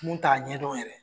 Mun t'a ɲɛdɔn yɛrɛ